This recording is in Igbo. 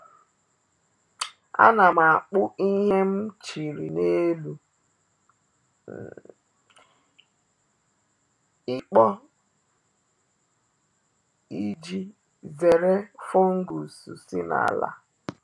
A na m akpụ ihe m chịrị n’elu ikpo iji zere fungus si na’ala